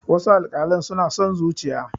wasu alkalan suna son zuciya